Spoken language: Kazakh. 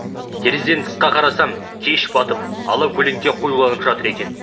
терезеден тысқа қарасам кеш батып ала көлеңке қоюланып жатыр екен